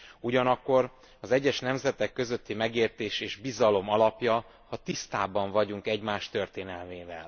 Ugyanakkor az egyes nemzetek közötti megértés és bizalom alapja az, ha tisztában vagyunk egymás történelmével.